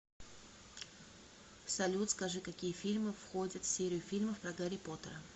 салют скажи какие фильмы входят в серию фильмов про гарри поттера